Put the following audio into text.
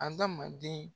Adamaden